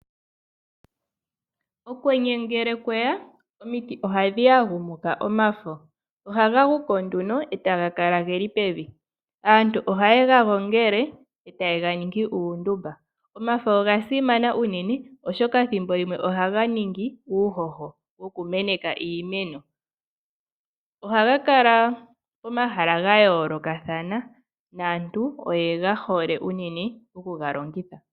Okwenye ngele kweya omiti ohadhi yagumuka omafo etaga kala geli pevi. Aantu oha yega gongele etayega ningi uundumba. Omafo oga simana unene thimbo limwe ohaga longithwa oku ninga uuhoho woku meneka iimeno, ohaga kala pomahala ga yoolokathana naantu oyega hole unene okuga longitha.